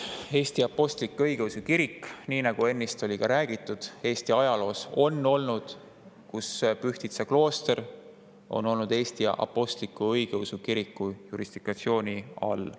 Eesti Apostlik-Õigeusu Kirik ja nii nagu ennist sai öeldud, Eesti ajaloos on olnud aeg, kus Pühtitsa klooster on olnud Eesti Apostlik-Õigeusu Kiriku jurisdiktsiooni all.